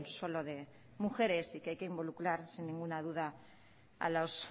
solo de mujeres y que hay que involucrar sin ninguna duda a los